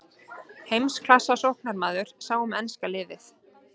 Heimsklassa sóknarmaður sá um enska liðið.